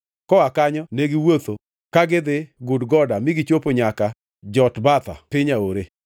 Koa kanyo ne giwuotho ka gidhi Gudgoda ma gichopo nyaka Jotbatha, piny aore.